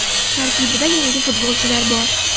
Tarkibda yangi futbolchilar bor.